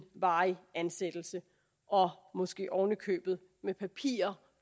varig ansættelse og måske ovenikøbet med papirer